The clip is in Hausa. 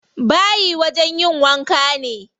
Bayi wajen yin wanka ne.